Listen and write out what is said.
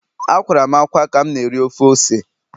Akwara m ákwá ka m na-eri ofe ose